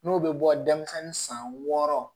N'o bɛ bɔ denmisɛnnin san wɔɔrɔ